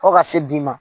Fo ka se bi ma